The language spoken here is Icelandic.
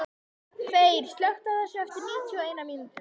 Þeyr, slökktu á þessu eftir níutíu og eina mínútur.